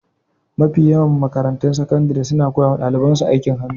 Mafi yawan makarantun sakandire suna koya wa daliban su aikin hannu